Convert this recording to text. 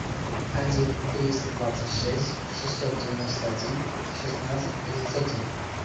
один триста двадцать шесть шестьсот девяносто один шестнадцать тридцать один